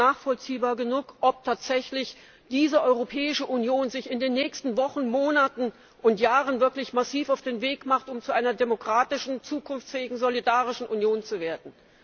Es ist nicht nachvollziehbar genug, ob sich diese Europäische Union tatsächlich in den nächsten Wochen, Monaten und Jahren massiv auf den Weg macht, um zu einer demokratischen, zukunftsfähigen, solidarischen Union zu werden.